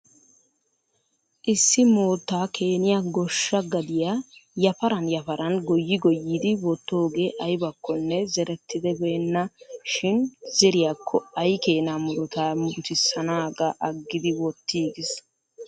Issi moottaa keeniya goshsha gadiya yaparan yaparan goyyi goyyidi wottogee ayibakkonne zerettibbeenna shin zeriyako ayi keena muruta murutissanagaa aggidi wottiigis